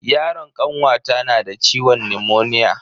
Yaron kanwata nada ciwon nimoniya.